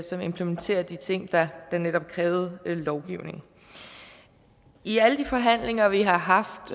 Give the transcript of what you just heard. som implementerer de ting der netop krævede lovgivning i alle de forhandlinger vi har haft